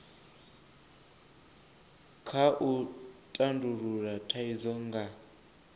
kha u tandulula thaidzo nga